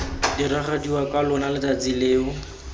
diragadiwa ka lona letsatsi leo